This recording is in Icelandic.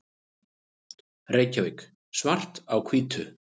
Reykjavík, Svart á hvítu.